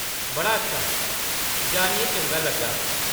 बड़ा अच्छा ! जानियै चंगा लग्गा।